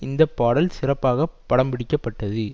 இந்த பாடல் சிறப்பாக படம்பிடிக்கப்பட்டது